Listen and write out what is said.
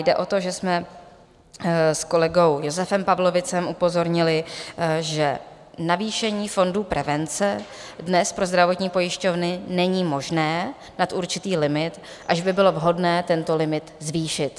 Jde o to, že jsme s kolegou Josefem Pavlovicem upozornili, že navýšení fondu prevence dnes pro zdravotní pojišťovny není možné nad určitý limit, až by bylo vhodné tento limit zvýšit.